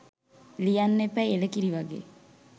ලියන්න එපැයි එළකිරි වගේ